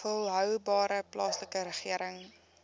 volhoubare plaaslike regering